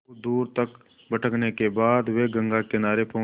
बहुत दूर तक भटकने के बाद वे गंगा किनारे पहुँचे